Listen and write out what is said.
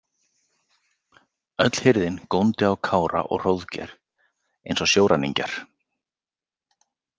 Öll hirðin góndi á Kára og Hróðgeir eins og sjóræningjar.